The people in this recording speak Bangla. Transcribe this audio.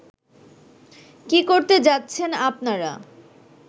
কী করতে যাচ্ছেন আপনারা